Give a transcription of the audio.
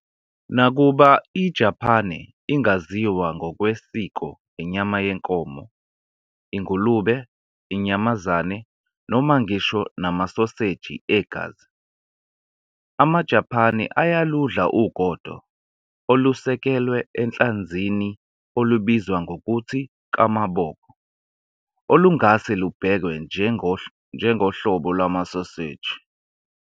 Nakuba iJapane ingaziwa ngokwesiko ngenyama yenkomo, ingulube, inyamazane, noma ngisho namasoseji egazi, amaJapane ayaludla ugodo olusekelwe enhlanzini olubizwa ngokuthi kamaboko, olungase lubhekwe njengohlobo lwamasoseji.